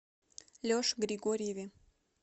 леше григорьеве